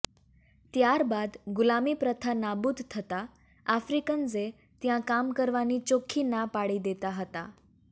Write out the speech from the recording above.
ત્યરબાદ ગુલામી પ્રથા નાબૂદ થાતાં આફ્રિક્ન્સે ત્યાં કામકરવાની ચોખ્ખી ના પાડી દેતા હતાં